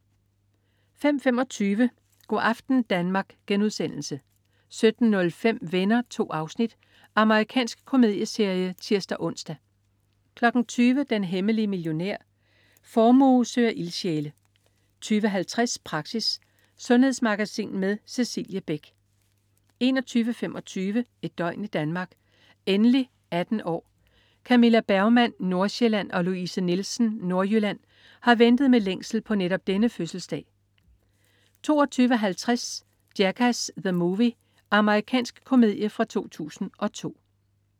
05.25 Go' aften Danmark* 17.05 Venner. 2 afsnit. Amerikansk komedieserie (tirs-ons) 20.00 Den hemmelige millionær. Formue søger ildsjæle 20.50 Praxis. Sundhedsmagasin med Cecilie Beck 21.25 Et døgn i Danmark: Endelig 18 år! Camilla Bergmann, Nordsjælland, og Louise Nielsen, Nordjylland, har ventet med længsel på netop denne fødselsdag 22.50 Jackass: The Movie. Amerikansk komedie fra 2002